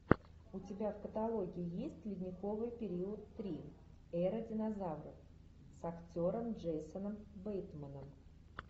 у тебя в каталоге есть ледниковый период три эра динозавров с актером джейсоном бейтманом